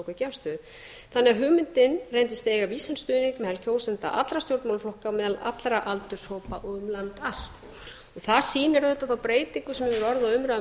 tóku ekki afstöðu þannig að hugmyndin reyndist eiga vísan stuðning meðal allra stjórnmálaflokka á meðal allra aldurshópa og um land allt og það sýnir auðvitað þá breytingu sem hefur orðið á umræðu um